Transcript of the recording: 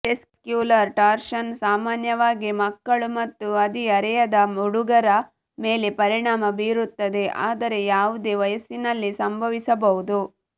testicular torsion ಸಾಮಾನ್ಯವಾಗಿ ಮಕ್ಕಳು ಮತ್ತು ಹದಿಹರೆಯದ ಹುಡುಗರ ಮೇಲೆ ಪರಿಣಾಮ ಬೀರುತ್ತದೆ ಆದರೆ ಯಾವುದೇ ವಯಸ್ಸಿನಲ್ಲಿ ಸಂಭವಿಸಬಹುದು